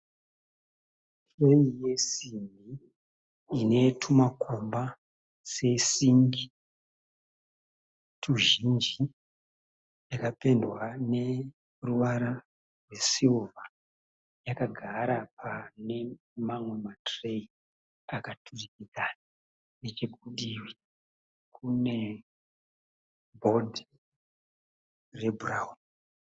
Tureyi yesimbi ine tumakomba sesingi tuzhinji. Yakapendwa ruvara rwesirivha yakagara pane mamwe ma tureyi akaturikidzana necheku divi kune bhodhi rebhurauni.